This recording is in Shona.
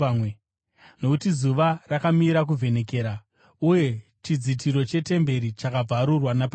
nokuti zuva rakamira kuvhenekera. Uye chidzitiro chetemberi chakabvarurwa napakati.